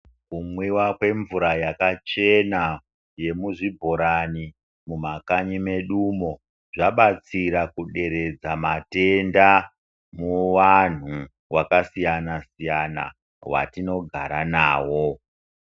Kumwiwa kwemvura yakachena yemuzvibhurani mumakanyi mwedu umo zvabatsira kuderedza matenda muvanhu vakasiyana siyana watinogara nawo.